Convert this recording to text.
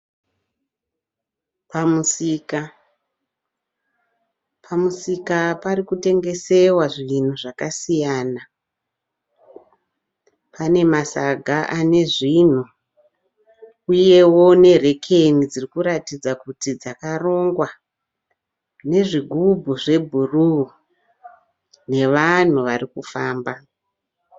Pamusika. Pamusika parikutengesewa zvinhu zvakasiyana. Pane masaga ane zvinhu uyewo nerekeni dzirikuratidza kuti dzakarongwa nezvigubhu zvebhuruu nevanhu varikufamba.